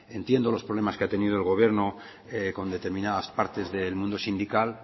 entiendo los problemas que ha tenido el gobierno con determinadas partes del mundo sindical